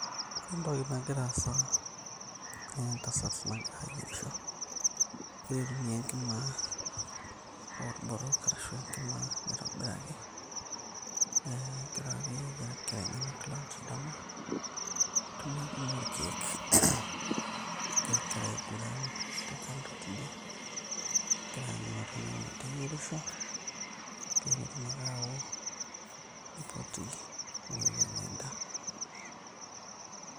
ore entoki nagira aasa naa entasat nagira ayierisho egira aitumia enkima orborok ashu enkima naitobiraki eh, egira ake ayiaraki inkera enyenak lunch dama aitumia enkima orkeek negira inkera aiguran te kando[cs tidie egira aanyu ng'otonye meteyierisho pee enetum ake awo nipoti meu anya endaa.